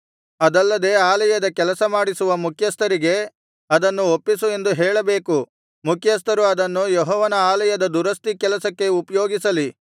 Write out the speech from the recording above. ಅದಲ್ಲದೆ ಆಲಯದ ಕೆಲಸಮಾಡಿಸುವ ಮುಖ್ಯಸ್ಥರಿಗೆ ಅದನ್ನು ಒಪ್ಪಿಸು ಎಂದು ಹೇಳಬೇಕು ಮುಖ್ಯಸ್ಥರು ಅದನ್ನು ಯೆಹೋವನ ಆಲಯದ ದುರಸ್ತಿ ಕೆಲಸಕ್ಕೆ ಉಪಯೋಗಿಸಲಿ